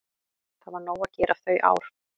Það var nóg að gera þau ár.